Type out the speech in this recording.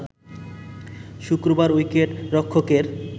শুক্রবার উইকেট রক্ষকের